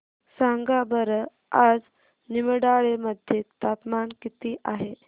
सांगा बरं आज निमडाळे मध्ये तापमान किती आहे